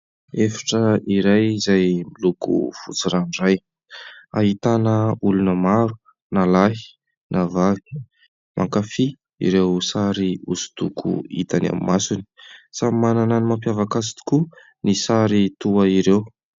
Efitra iray izay miloko fotsy ranoray. Ahitana olona maro na lahy na vavy, mankafy ireo sary hosodoko hitany amin'ny masony. Samy manana ny mampiavaka azy tokoa ny sary toa ireo.